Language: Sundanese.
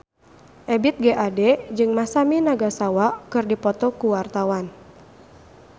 Ebith G. Ade jeung Masami Nagasawa keur dipoto ku wartawan